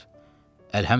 Əlhəmdülillah.